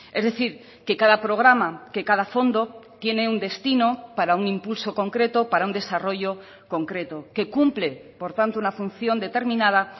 es decir que cada programa que cada fondo tiene un destino para un impulso concreto para un desarrollo concreto que cumple por tanto una función determinada